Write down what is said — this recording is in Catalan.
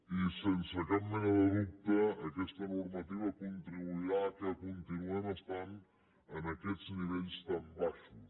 i sense cap mena de dubte aquesta normativa contribuirà al fet que continuem estan en aquests nivells tan baixos